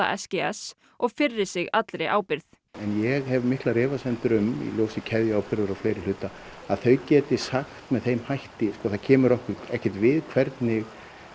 s g s og firri sig allri ábyrgð ég hef miklar efasemdir um í ljósi keðjuábyrgðar og fleiri hluta að þau geti sagt með þeim hætti það kemur okkur ekkert við hvernig